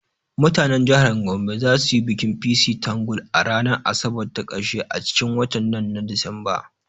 Mutanen jihar Gombe za su yi bikin ''Pissi tangle'' a ranar asabar ta karshe a cikin watan nan na disamba